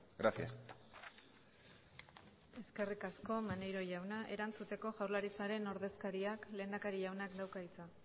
gracias eskerrik asko maneiro jauna erantzuteko jaurlaritzaren ordezkariak lehendakari jaunak dauka hitza